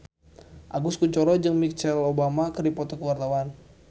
Agus Kuncoro jeung Michelle Obama keur dipoto ku wartawan